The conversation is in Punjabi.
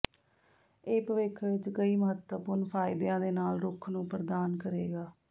ਇਹ ਭਵਿੱਖ ਵਿੱਚ ਕਈ ਮਹੱਤਵਪੂਰਨ ਫਾਇਦਿਆਂ ਦੇ ਨਾਲ ਰੁੱਖ ਨੂੰ ਪ੍ਰਦਾਨ ਕਰੇਗਾ